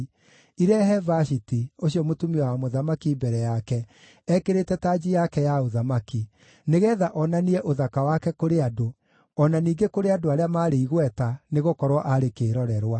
irehe Vashiti, ũcio mũtumia wa mũthamaki mbere yake ekĩrĩte tanji yake ya ũthamaki, nĩgeetha onanie ũthaka wake kũrĩ andũ, o na ningĩ kũrĩ andũ arĩa maarĩ igweta, nĩgũkorwo aarĩ kĩĩrorerwa.